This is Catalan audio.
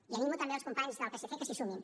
i animo també els companys del psc que s’hi sumin